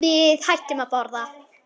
Við hættum að borða.